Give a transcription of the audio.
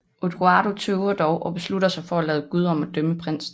Odoardo tøver dog og beslutter sig for at lade Gud om at dømme prinsen